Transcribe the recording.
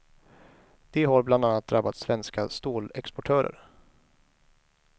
Det har bland annat drabbat svenska stålexportörer.